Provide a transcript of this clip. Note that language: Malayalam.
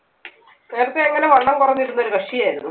നേരത്തെ എങ്ങനെ വണ്ണം കുറഞ്ഞിരുന്ന ഒരു കക്ഷി ആയിരുന്നു.